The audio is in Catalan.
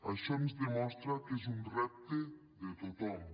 això ens demostra que és un repte de tothom